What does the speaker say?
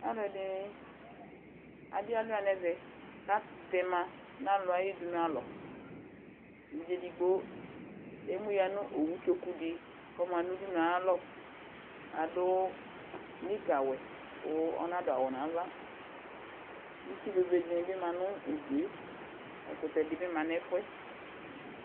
Alʋ ɛdini, adi alʋa nɛvɛ katɛma nʋ alʋ ayu dunu alɔ Evidze ɛdigbo emu ya nʋ owu tsoku di kʋ ɔma nʋ udunu yɛ ayalɔ kʋ adʋ nika wɛ kʋ ɔnadʋ awʋ nava Itsu bebe dini bi ma nʋ udu e Ɛkʋtɛ di bi ma nʋ ɛfuɛ